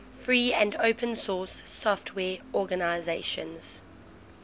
free and open source software organizations